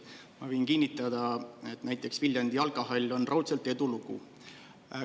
Ma võin kinnitada, et näiteks Viljandi jalkahall on raudselt edulugu.